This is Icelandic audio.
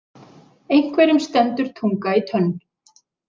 Einhverjum stendur tunga í tönn